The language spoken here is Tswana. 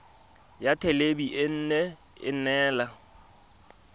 ya thelebi ene e neela